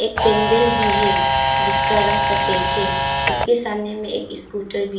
पेंडल भी है जिसका रंग सफेद है उसका सामने में स्कूटर भी--